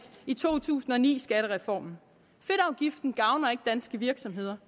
i to tusind og ni skattereformen fedtafgiften gavner ikke danske virksomheder